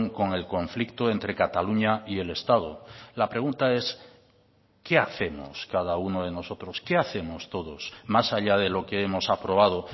con el conflicto entre cataluña y el estado la pregunta es qué hacemos cada uno de nosotros qué hacemos todos más allá de lo que hemos aprobado